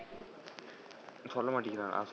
சொல்ல மாட்டிங்குறானா?